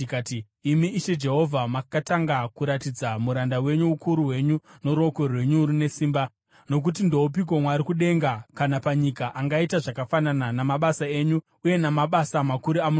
“Imi Ishe Jehovha, makatanga kuratidza muranda wenyu ukuru hwenyu noruoko rwenyu rune simba. Nokuti ndoupiko Mwari kudenga kana panyika angaita zvakafanana namabasa enyu uye namabasa makuru amunoita?